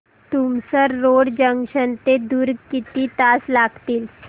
Tumsar road junction ते दुर्ग किती तास लागतील